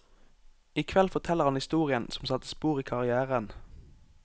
I kveld forteller han historien som satte spor i karrièren.